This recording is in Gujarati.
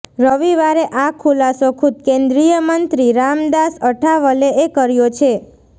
રવિવારે આ ખુલાસો ખુદ કેન્દ્રીય મંત્રી રામદાસ અઠાવલેએ કર્યો છે